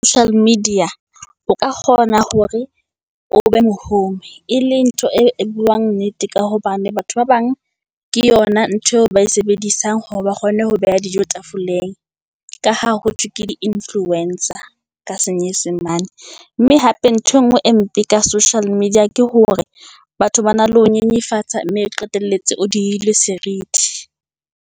media, o ka kgona hore o be mohumi e leng ntho e buang nnete ka hobane batho ba bang, ke yona ntho eo ba e sebedisang hore ba kgone ho beha dijo tafoleng, ka ha ho thwe ke di influencer ka senyesemane. Mme hape nthwe ngwe e mpe ka social media ke hore batho ba na le ho nyenyefatsa, mme o qetelletse o dile serithi.